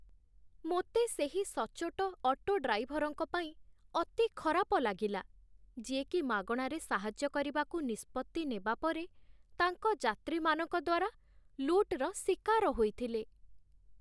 ମୋତେ ସେହି ସଚ୍ଚୋଟ ଅଟୋ ଡ୍ରାଇଭର୍‌ଙ୍କ ପାଇଁ ଅତି ଖରାପ ଲାଗିଲା, ଯିଏକି ମାଗଣାରେ ସାହାଯ୍ୟ କରିବାକୁ ନିଷ୍ପତ୍ତି ନେବା ପରେ ତାଙ୍କ ଯାତ୍ରୀମାନଙ୍କ ଦ୍ୱାରା ଲୁଟ୍‌ର ଶିକାର ହୋଇଥିଲେ।